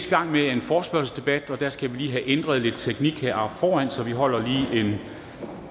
i gang med er en forespørgselsdebat og der skal vi lige have ændret lidt teknik heroppe foran så vi holder lige en